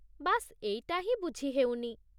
ବାସ୍ ଏଇଟା ହିଁ ବୁଝି ହେଉନି।